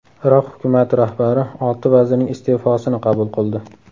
Iroq hukumati rahbari olti vazirning iste’fosini qabul qildi.